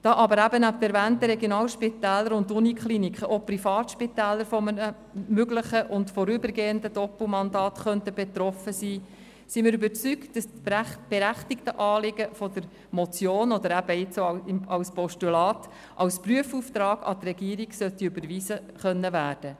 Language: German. Da aber neben den erwähnten Regionalspitälern und Universitätskliniken auch Privatspitäler von einem möglichen und vorübergehenden Doppelmandat betroffen sein könnten, sind wir überzeugt, dass das berechtigte Anliegen des Vorstosses als Prüfauftrag an die Regierung überwiesen werden sollte.